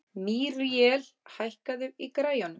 Míríel, hækkaðu í græjunum.